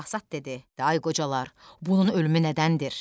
Basat dedi: ay qocalar, bunun ölümü nədəndir?